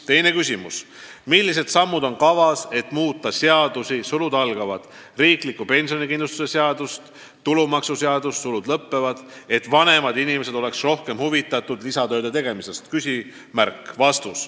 Teine küsimus: "Millised sammud on kavas, et muuta seadusi , et vanemad inimesed oleksid rohkem huvitatud lisatööde tegemisest?